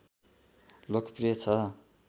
लोकप्रिय छ